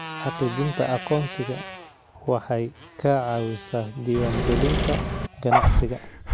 Xaqiijinta aqoonsiga waxay ka caawisaa diiwaangelinta ganacsiga.